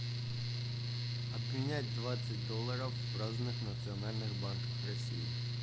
обменять двадцать долларов в разных национальных банках россии